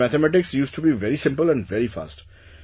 In which mathematics used to be very simple and very fast